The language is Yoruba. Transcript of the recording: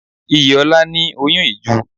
Iyìola ní oyun ìju